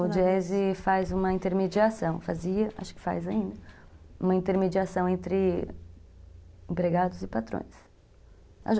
O Diese faz uma intermediação, fazia, acho que faz ainda, uma intermediação entre empregados e patrões.